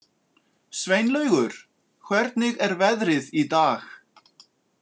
Sveinlaugur, hvernig er veðrið í dag?